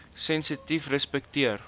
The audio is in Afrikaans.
sensitiefrespekteer